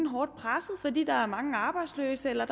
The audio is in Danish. hårdt presset fordi der er mange arbejdsløse eller